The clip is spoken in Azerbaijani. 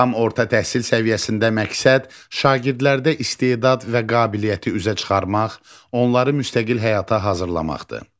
Tam orta təhsil səviyyəsində məqsəd şagirdlərdə istedad və qabiliyyəti üzə çıxarmaq, onları müstəqil həyata hazırlamaqdır.